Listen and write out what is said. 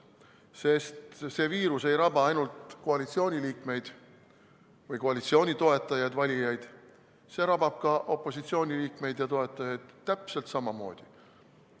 Sest see viirus ei raba ainult koalitsiooniliikmeid või koalitsiooni toetajaid, valijaid, see rabab ka opositsiooniliikmeid ja opositsiooni toetajaid täpselt samamoodi.